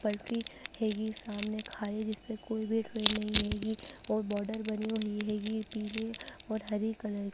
पटरी हेगि सामने ख़ाई जिसपे कोई भी ट्रेन नही हेगी और बॉर्डर बनी हुई हैगी पीले और हरे कलर ---